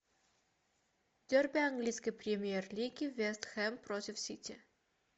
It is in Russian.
дерби английской премьер лиги вест хэм против сити